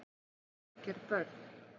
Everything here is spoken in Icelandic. Hvað eru bráðger börn?